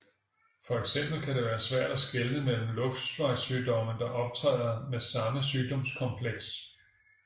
For eksempel kan det være svært at skelne forskellige luftvejssygdomme der optræder med samme symptomkompleks